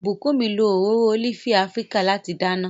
Bukunmi lo òróró ólífì Afíríkà láti dáná.